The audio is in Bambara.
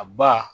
A ba